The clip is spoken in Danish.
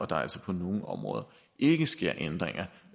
der altså på nogle områder ikke sker ændringer